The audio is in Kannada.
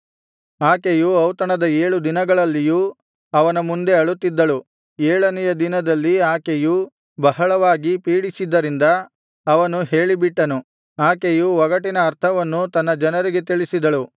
ಆಕೆಯು ಔತಣದ ಏಳು ದಿನಗಳಲ್ಲಿಯೂ ಅವನ ಮುಂದೆ ಅಳುತ್ತಿದ್ದಳು ಏಳನೆಯ ದಿನದಲ್ಲಿ ಆಕೆಯು ಬಹಳವಾಗಿ ಪೀಡಿಸಿದ್ದರಿಂದ ಅವನು ಹೇಳಿಬಿಟ್ಟನು ಆಕೆಯು ಒಗಟಿನ ಅರ್ಥವನ್ನು ತನ್ನ ಜನರಿಗೆ ತಿಳಿಸಿದಳು